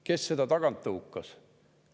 Kes seda tagant tõukas?